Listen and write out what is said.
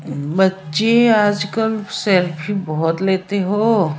बच्चे आजकल सेल्फी बहुत लेते हो